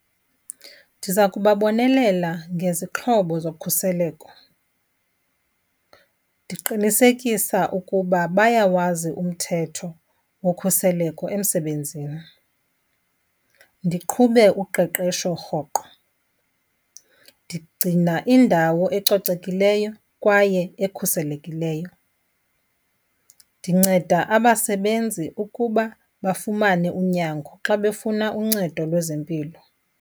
Ndiza kuba bonelela ngezixhobo zokhuseleko, ndiqinisekisa ukuba bayawazi umthetho wokhuseleko emsebenzini, ndiqhube uqeqesho rhoqo. Ndigcina indawo ecocekileyo kwaye ekhuselekileyo. Ndinceda abasebenzi ukuba bafumane unyango xa befuna uncedo lwezempilo.